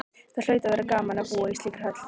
Það hlaut að vera gaman að búa í slíkri höll.